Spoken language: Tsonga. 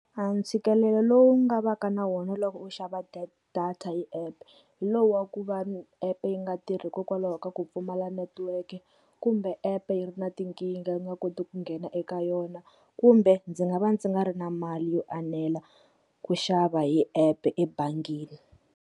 A ntshikelelo lowu nga va ka na wona loko u xava data hi app, hi lowu wa ku va app yi nga tirhi hikokwalaho ka ku pfumala netiweke kumbe app yi ri na tinkingha yi nga koti ku nghena eka yona, kumbe ndzi nga va ndzi nga ri na mali yo enela ku xava hi app ebangini.